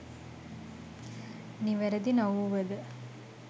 නිවැරදි නොවුවද